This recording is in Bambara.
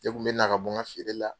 Ne tun bɛ na ka bɔ feere la.